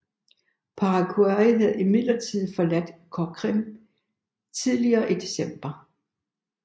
Paraguay havde imidlertid forladt Coxim tidligere i december